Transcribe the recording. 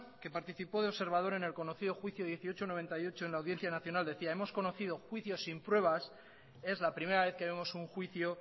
que participó de observador en el conocido juicio dieciocho barra noventa y ocho en la audiencia nacional decía hemos conocido juicios sin pruebas es la primera vez que vemos un juicio